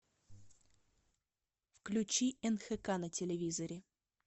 включи нхк на телевизоре